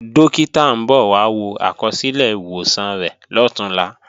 Dókítà ń bọ̀ wá wo àkọsílẹ̀ ìwòsàn rẹ̀ lọ̀túnla